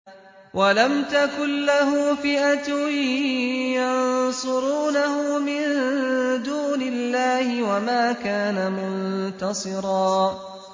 وَلَمْ تَكُن لَّهُ فِئَةٌ يَنصُرُونَهُ مِن دُونِ اللَّهِ وَمَا كَانَ مُنتَصِرًا